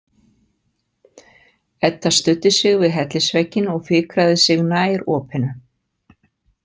Edda studdi sig við hellisvegginn og fikraði sig nær opinu.